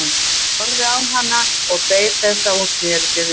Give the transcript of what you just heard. Hann horfði á hana og beið þess að hún sneri sér við.